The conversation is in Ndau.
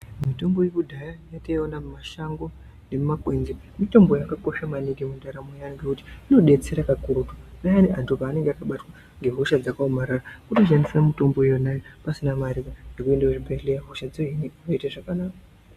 Mitombo yekudhaya yatainoona mumashango nemumakwenzi mitombo yakakosha maningi mundaramo yaantu ngekuti inodetsera kakurutu payani antu paanenge akabatwa ngehosha dzakaomarada kutoshandisa mutombo iyona iyoyo pasina mare yeunda kuchibhedhleya hosha dzohinika woite zvakanaka.